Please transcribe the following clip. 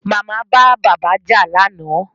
Màmá bá bàbá jà lánàá